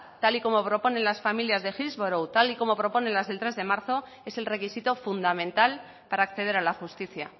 tal y como proponen las familias de hillsborough tal como proponen las del tres de marzo es el requisito fundamental para acceder a la justicia